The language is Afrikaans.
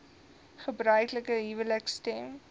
gebruiklike huwelike stem